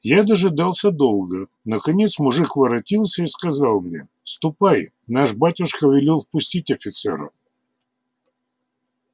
я дожидался долго наконец мужик воротился и сказал мне ступай наш батюшка велел впустить офицера